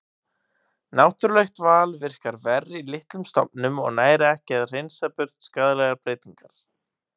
Náttúrulegt val virkar verr í litlum stofnum og nær ekki að hreinsa burt skaðlegar breytingar.